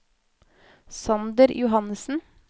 Sander Johannesen